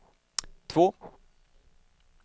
två